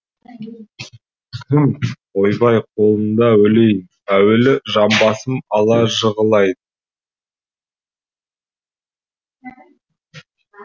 кім ойбай қолында өлейін әуелі жамбасыма ала жығылайын